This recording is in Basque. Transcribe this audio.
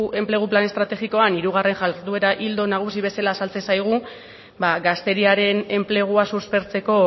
enplegu plan estrategikoan hirugarren jarduera ildo nagusi bezala azaltzen zaigu gazteriaren enplegua suspertzeko